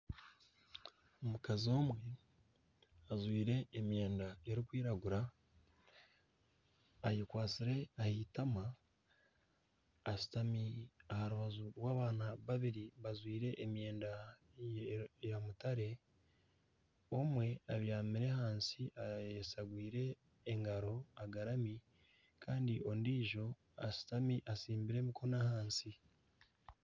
Omukazi omwe ajwaire emyenda erikwiragura ,ayekwatsire aheitama ,ashutami aharubaju rw'abaana babiri bajwaire emyenda ya mutare ,omwe abyamire ahansi ayeshagwiire engaro agarami Kandi ondiijo ashutami atsimbire emikono ahansi.